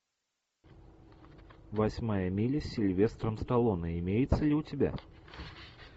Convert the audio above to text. восьмая миля с сильвестром сталлоне имеется ли у тебя